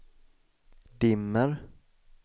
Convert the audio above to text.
dimmer